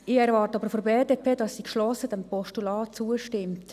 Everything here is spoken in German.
Ich erwarte jedoch von der BDP, dass sie diesem Postulat geschlossen zustimmt.